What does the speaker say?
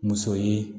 Muso ye